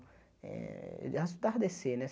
Eh tardecer, né?